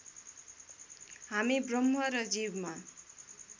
हामी ब्रह्म र जीवमा